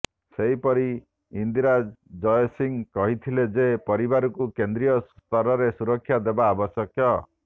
ସେହିପରି ଇନ୍ଦିରା ଜୟସିଂହ କହିଥିଲେ ଯେ ପରିବାରକୁ କେନ୍ଦ୍ରୀୟ ସ୍ତରରେ ସୁରକ୍ଷା ଦେବା ଆବଶ୍ୟକ